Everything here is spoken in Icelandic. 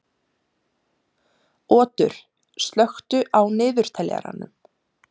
Otur, slökktu á niðurteljaranum.